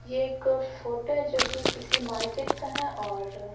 ये एक फोटो है जो कि किसी मार्केट का है और --